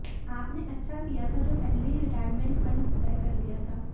आपने अच्छा किया था जो पहले ही रिटायरमेंट फंड तय कर लिया था